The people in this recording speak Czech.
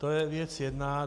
To je věc jedna.